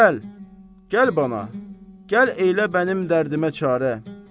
Gəl, gəl mənə, gəl eylə bənim dərdimə çarə.